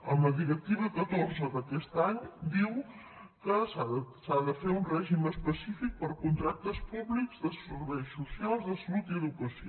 amb la directiva catorze d’aquest any diu que s’ha de fer un règim específic per a contractes públics de serveis socials de salut i educació